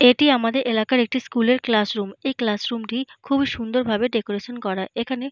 এটি আমাদের এলাকার একটি স্কুল -এর ক্লাসরুম । এই ক্লাসরুম -টি খুবই সুন্দর ভাবে ডেকোরেশন করা। এখানে --